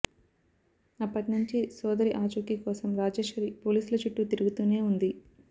అప్పటినుంచి సోదరి ఆచూకి కోసం రాజేశ్వరి పోలీసుల చుట్టూ తిరుగుతూనే ఉంది